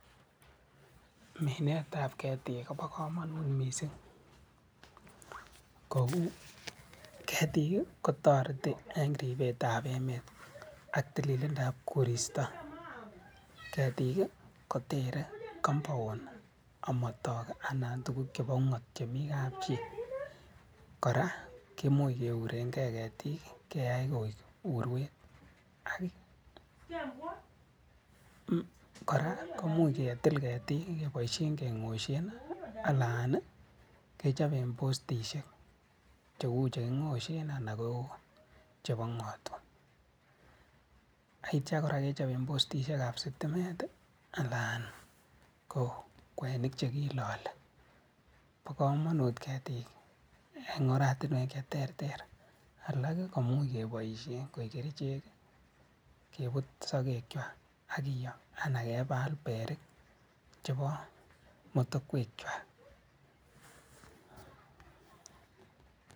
Minet ab ketik kobo komonut missing kouu ketik kotoretii en ribet ab emet ak tililindo ab koristo, ketik kotere compound omotok anan kotugug chebo ungot chemii kapchii koraa kimuch keurengee ketik keyay urwet ak ii koraa kimuche ketil ketik keboishen kengoshen alan ii kechoben postisyek cheuu chekingoshen ana kouu che ngotwa aitya koraa kechoben postisyek ab stimet anan ko kwenik chekilolee. Bo komonut ketik en orwek che terter alak kimuch keboishen koik kerichek ii keput sogekywak akiyoo anan kebal berik chebo motokwek kwak